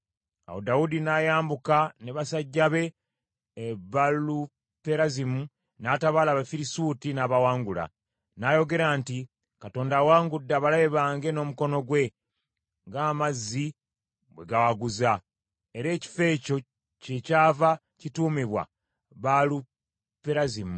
Awo Dawudi n’ayambuka ne basajja be e Baaluperazimu, n’atabaala Abafirisuuti n’abawangula. N’ayogera nti, “Katonda awangudde abalabe bange n’omukono gwe, ng’amazzi bwe gawaguza.” Era ekifo ekyo kyekyava kituumibwa Baaluperazimu.